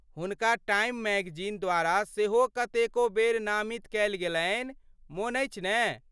हुनका Time magazine द्वारा सेहो कतेको बेर नामित कएल गेलन्हि, मोन अछि ने?